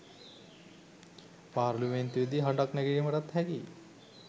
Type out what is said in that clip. පාර්ලිමේන්තුවේදී හඬක් නැගීමටත් හැකියි